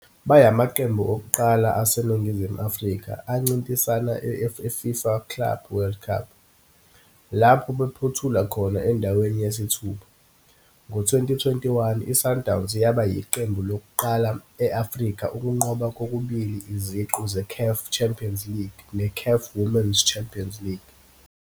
Bayamaqembu okuqala aseNingizimu Afrika ancintisana e-I-FIFA Club World Cup, lapho baphothula khona endaweni yesithupha. Ngo-2021, i-Sundowns yaba yiqembu lokuqala e-Afrika ukunqoba kokubili iziqu ze-CAF Champions League ne-CAF Women's Champions League.